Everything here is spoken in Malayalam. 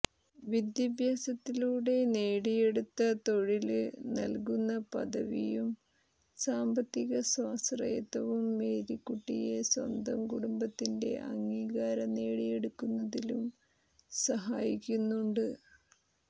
വിദ്യാഭ്യാസത്തിലൂടെ നേടിയെടുത്ത തൊഴില് നല്കുന്ന പദവിയും സാമ്പത്തിക സ്വാശ്രയത്വവും മേരിക്കുട്ടിയെ സ്വന്തം കുടുംബത്തിന്റെ അംഗീകാരം നേടിയെടുക്കുന്നതിലും സഹായിക്കുന്നുണ്ട്